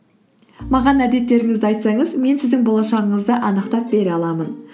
маған әдеттеріңізді айтсаңыз мен сіздің болашағыңызды анықтап бере аламын